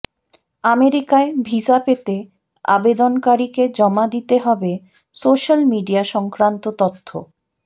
আমেরিকায় ভিসা পেতে আবেদনকারীকে জমা দিতে হবে সোশ্যাল মিডিয়া সংক্রান্ত তথ্য